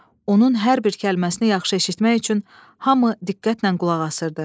Onun hər bir kəlməsini yaxşı eşitmək üçün hamı diqqətlə qulaq asırdı.